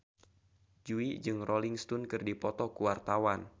Jui jeung Rolling Stone keur dipoto ku wartawan